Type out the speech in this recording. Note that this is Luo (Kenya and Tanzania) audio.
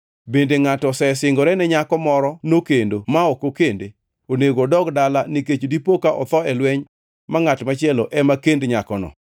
Bende ngʼato osesingore ne nyako moro nokendo ma ok okende? Onego odog dala nikech dipoka otho e lweny ma ngʼat machielo ema kend nyakono.”